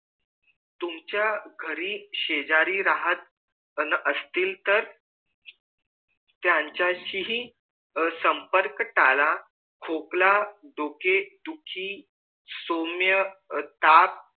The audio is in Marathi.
तुमच्या घरी शेजारी राहत असतील टेर त्यांचशी ही संपर्क टाला खोकला डोके दुखी सौम्य ताप